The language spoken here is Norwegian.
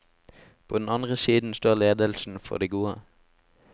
På den andre siden står ledelsen for de gode.